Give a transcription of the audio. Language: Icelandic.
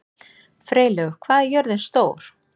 Freylaug, hvað er jörðin stór?